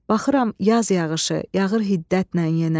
Baxıram yaz yağışı, yağır hiddətlə yenə.